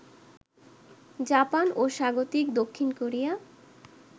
Japan ও স্বাগতিক দক্ষিণ কোরিয়া